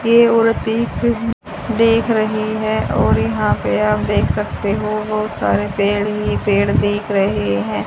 ये औरतें देख रही हैं और यहां पे आप देख सकते हो बहोत सारे पेड़ ही पेड़ देख रहे हैं।